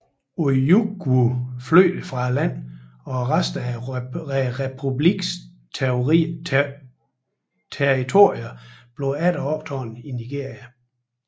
Ojukwu flygtede fra landet og resterne af republikkens territorier blev atter optaget i Nigeria